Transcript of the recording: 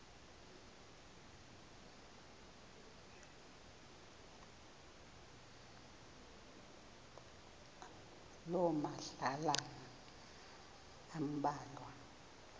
loo madlalana ambalwa